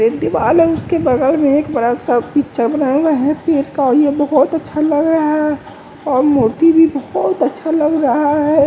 एक दीवाल है उसके बगल में एक बड़ा सा पिक्चर बनाया हुआ है पेर का और ये बहुत अच्छा लग रहा है और मूर्ति भी बहुत अच्छा लग रहा है।